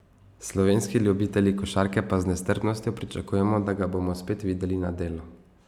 Slovenski ljubitelji košarke pa z nestrpnostjo pričakujemo, da ga bomo spet videli na delu.